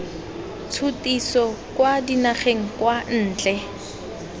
tshutiso kwa dinageng kwa ntle